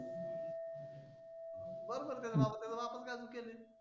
बरोबर आहे त्याच्या बापाचं. त्याच्या बापाचं काय चुकेल आहे?